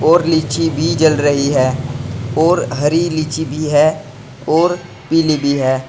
और लीची भी जल रही है और हरी लीची भी है और पीली भी है।